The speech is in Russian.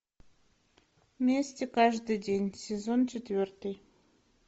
вместе каждый день сезон четвертый